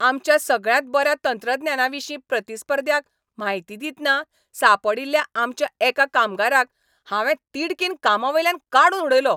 आमच्या सगळ्यांत बऱ्या तंत्रज्ञाविशीं प्रतिस्पर्ध्याक म्हायती दितना सांपडील्ल्या आमच्या एका कामगाराक हांवें तिडकीन कामावयल्यान काडून उडयलो.